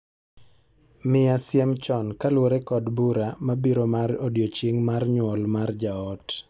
Miya siem chon kaluwore kod bura mabiro mar odiechieng' mar nyuol mar jaot